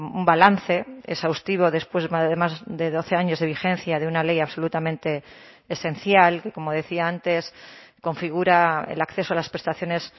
un balance exhaustivo después además de doce años de vigencia de una ley absolutamente esencial que como decía antes configura el acceso a las prestaciones